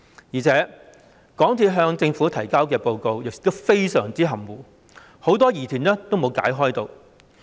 而且，港鐵公司向政府提交的報告亦非常含糊，很多疑團並未被解開。